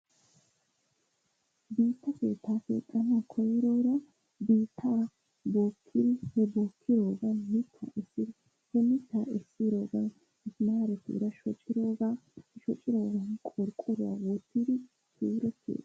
Issi keettaa keexxanawu koyroora biitttaa bookkidi he bookkiddogan mitaa essir he essiroogan maara suure shuccidi shocciroogan qorqqoruwa wottidi